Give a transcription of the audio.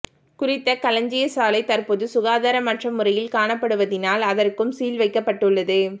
குறித்த களஞ்சியசாலை தற்போது சுகாதாரமற்ற முறையில் காணப்படுவதினால் அதற்கும் சீல் வைக்கப்பட்டுள்ளது